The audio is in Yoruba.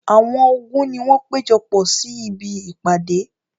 Àwọn ogun ni wọ́n ti péjọpọ̀ sí ibi ìpàdé.